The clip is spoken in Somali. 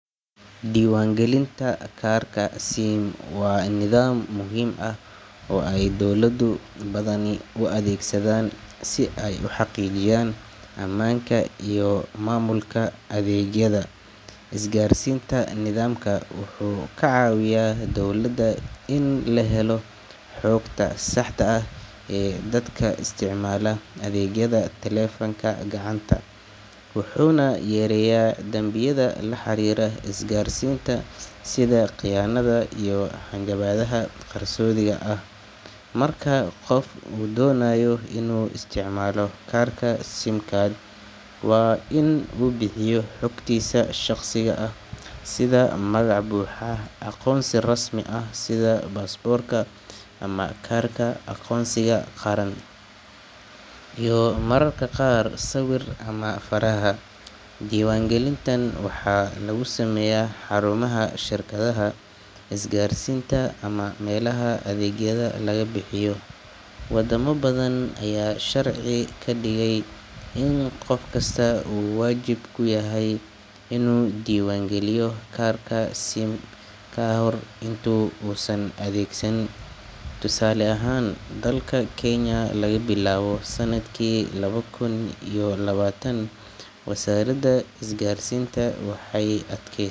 Diiwaangelinta kaarka SIM waa nidaam muhiim ah oo ay dowlado badani u adeegsadaan si ay u xaqiijiyaan ammaanka iyo maamulka adeegyada isgaarsiinta. Nidaamkan wuxuu ka caawiyaa dowladda in la helo xogta saxda ah ee dadka isticmaala adeegyada taleefanka gacanta, wuxuuna yareeyaa dambiyada la xiriira isgaarsiinta sida khiyaanada iyo hanjabaadaha qarsoodiga ah. Marka qof uu doonayo inuu isticmaalo kaarka SIM card, waa in uu bixiyo xogtiisa shaqsiga ah sida magac buuxa, aqoonsi rasmi ah sida baasaboorka ama kaarka aqoonsiga qaran, iyo mararka qaar sawir ama faraha. Diiwaangelintan waxaa lagu sameeyaa xarumaha shirkadaha isgaarsiinta ama meelaha adeegyada laga bixiyo. Wadamo badan ayaa sharci ka dhigay in qof kasta uu waajib ku yahay inuu diiwaan geliyo kaarka SIM ka hor inta uusan adeegsan. Tusaale ahaan, dalka Kenya, laga bilaabo sanadkii laba kun iyo labaatan, wasaaradda isgaarsiinta waxay adkay.